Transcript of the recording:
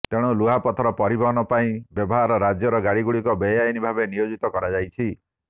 ତେଣୁ ଲୁହାପଥର ପରିବହନ ପାଇଁ ବାହାର ରାଜ୍ୟର ଗାଡ଼ିଗୁଡ଼ିକୁ ବେଆଇନ ଭାବେ ନିୟୋଜିତ କରାଯାଇଛି